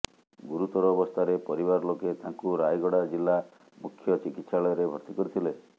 ଗୁରୁତର ଅବସ୍ଥାରେ ପରିବାର ଲୋକେ ତାଙ୍କୁ ରାୟଗଡା ଜିଲ୍ଲା ମୁଖ୍ୟ ଚିକିତ୍ସାଳୟରେ ଭର୍ତ୍ତି କରିଥିଲେ